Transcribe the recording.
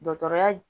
Dɔgɔtɔrɔya